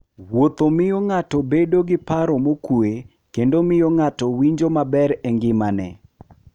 Wuotho miyo ng'ato bedo gi paro mokuwe kendo miyo ng'ato winjo maber e ngimane.